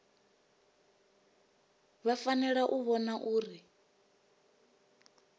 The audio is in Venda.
vha fanela u vhona uri